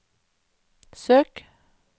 søk